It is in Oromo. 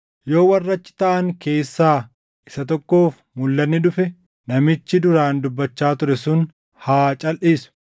Yoo warra achi taaʼan keessaa isa tokkoof mulʼanni dhufe, namichi duraan dubbachaa ture sun haa calʼisu.